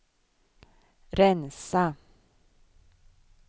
rensa